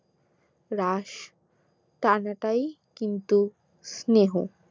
রাশ টানাটাই কিন্তু স্নেহ